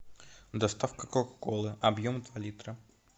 доставка кока колы объем два литра